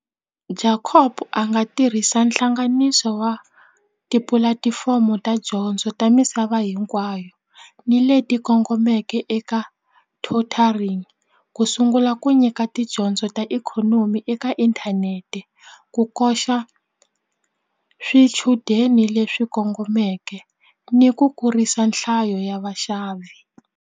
Jacob a nga tirhisa hlanganiso wa tipulatifomo ta dyondzo ta misava hinkwayo ni leti kongomeke eka tutoring ku sungula la ku nyika tidyondzo ta ikhonomi eka inthanete ku koxa swichudeni leswi kongomeke ni ku kurisa nhlayo ya vaxavi.